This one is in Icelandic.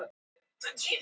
Þakka þér fyrir mjólkina.